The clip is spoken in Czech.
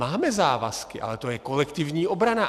Máme závazky, ale to je kolektivní obrana.